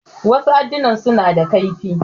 Wasu addunan suna da kaifi.